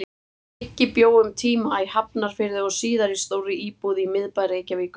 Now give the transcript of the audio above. Biggi bjó um tíma í Hafnarfirði og síðar í stórri íbúð í miðbæ Reykjavíkur.